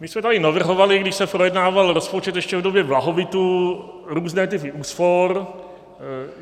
My jsme tady navrhovali, když se projednával rozpočet ještě v době blahobytu, různé typy úspor.